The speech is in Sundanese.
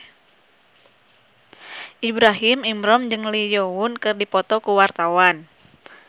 Ibrahim Imran jeung Lee Yo Won keur dipoto ku wartawan